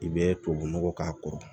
I bɛ tubabunɔgɔ k'a kɔrɔ